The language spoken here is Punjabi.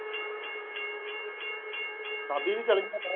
ਸਾਬੀ ਵੀ ਚੱਲ ਗਿਆ।